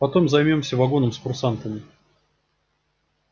потом займёмся вагоном с курсантами